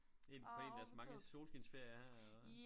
En på en af deres mange solskinsferier her eller hvad